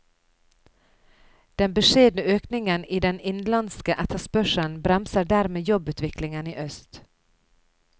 Den beskjedne økningen i den innenlandske etterspørselen bremser dermed jobbutviklingen i øst.